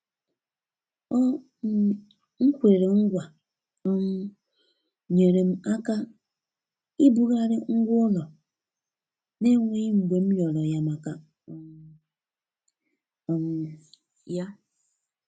o um nkwere ngwa um nyere m aka ibughari ngwa-ulo, na enweghi mgbe m riọriọ ya maka um um ya.